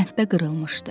kənddə qırılmışdı.